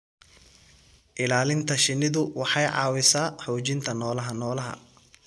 Ilaalinta shinnidu waxay caawisaa xoojinta noolaha noolaha.